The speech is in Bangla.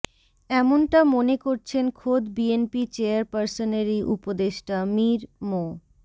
এমনটা মনে করছেন খোদ বিএনপি চেয়ারপারসনেরই উপদেষ্টা মীর মো